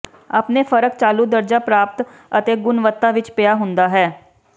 ਆਪਣੇ ਫਰਕ ਚਾਲੂ ਦਰਜਾ ਪ੍ਰਾਪਤ ਅਤੇ ਗੁਣਵੱਤਾ ਵਿੱਚ ਪਿਆ ਹੁੰਦਾ ਹੈ